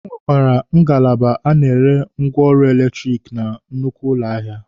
E nwekwara ngalaba a na-ere ngwaọrụ eletiriki na nnukwu ụlọ ahịa.